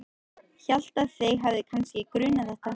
Hélt að þig hefði kannski grunað þetta.